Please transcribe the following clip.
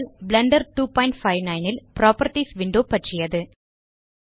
Blender 259 ல் properties window பற்றியது